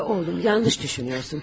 Rodiya oğlum, yanlış düşünürsən.